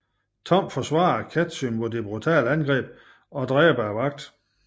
Tom forsvarer Casy mod det brutale angreb og dræber vagten